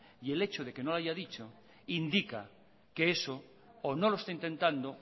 y el hecho de que no lo haya dicho indica que eso o no lo está intentado